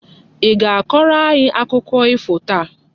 I ga-akọrọ anyị akụkọ ifo taa!